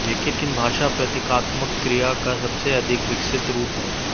लेकिन भाषा प्रतीकात्मकक्रिया का सबसे अधिक विकसित रूप है